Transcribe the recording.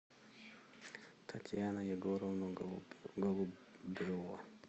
татьяна егоровна голубева